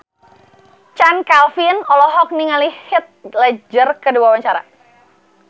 Chand Kelvin olohok ningali Heath Ledger keur diwawancara